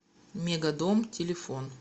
мегадом телефон